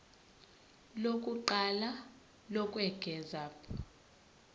lokuqala lokwengeza p